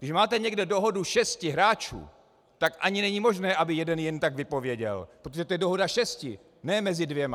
Když máte někde dohodu šesti hráčů, tak ani není možné, aby jeden jen tak vypověděl, protože to je dohoda šesti, ne mezi dvěma.